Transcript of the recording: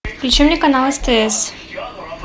включи мне канал стс